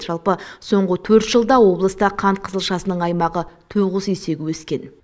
жалпы соңғы төрт жылда облыста қант қызылшасының аймағы тоғыз есеге өскен